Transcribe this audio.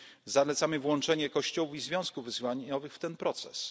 Zalecamy włączenie kościołów i związków wyznaniowych